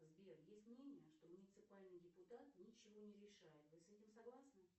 сбер есть мнение что муниципальный депутат ничего не решает вы с этим согласны